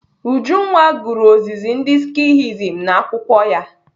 Ujunwa gụrụ ozizi ndị Skihism n'akwụkwọ ya.